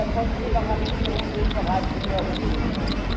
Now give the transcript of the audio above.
Zwei Stufen der Postliberalisierung sind bereits in der Umsetzung.